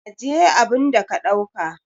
Ajiye abun da ka dauka!